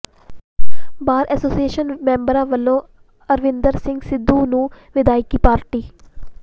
ਬਾਰ association ਮੈਂਬਰਾਂ ਵੱਲੋਂ ਅਰਪਿੰਦਰ ਸਿੰਘ ਸਿੱਧੂ ਨੂੰ ਵਿਦਾਇਗੀ ਪਾਰਟੀ